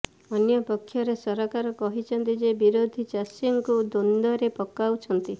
ଅନ୍ୟପକ୍ଷରେ ସରକାର କହିଛନ୍ତି ଯେ ବିରୋଧୀ ଚାଷୀଙ୍କୁ ଦ୍ୱନ୍ଦ୍ୱରେ ପକାଉଛନ୍ତି